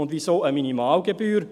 Und wieso eine Minimalgebühr?